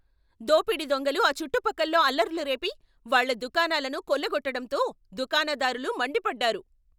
దోపిడీ దొంగలు ఆ చుట్టుపక్కల్లో అల్లర్లు రేపి, వాళ్ళ దుకాణాలను కొల్లగొట్టడంతో దుకాణదారులు మండిపడ్డారు.